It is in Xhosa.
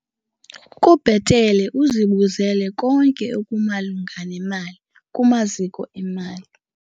Kubhetele uzibuzele konke okumalunga nemali kumaziko emali.